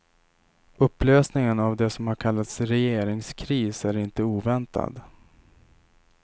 Upplösningen av det som har kallats regeringskris är inte oväntad.